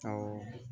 Awɔ